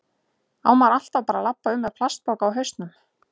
Á maður alltaf bara að labba um með plastpoka á hausnum?